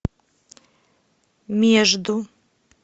между